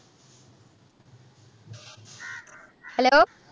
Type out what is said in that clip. hello